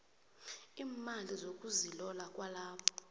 iimali zokuzilola kwalabo